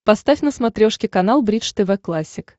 поставь на смотрешке канал бридж тв классик